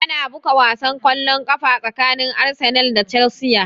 Ana buga wasan kwallon ƙafa tsakanin Arsenal da Chelsea